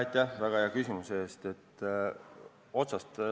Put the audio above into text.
Aitäh väga hea küsimuse eest!